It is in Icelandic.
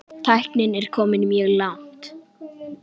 Tæknin er komin mjög langt.